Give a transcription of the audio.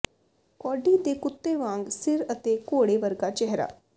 Cody ਦੇ ਕੁੱਤੇ ਵਾਂਗ ਸਿਰ ਅਤੇ ਘੋੜੇ ਵਰਗਾ ਚਿਹਰਾ